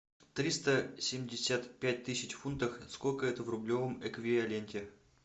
триста семьдесят пять тысяч фунтов сколько это в рублевом эквиваленте